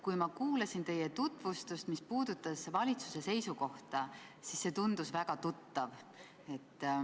Kui ma kuulasin teie tutvustust, mis puudutas valitsuse seisukohta, siis see tundus väga tuttav.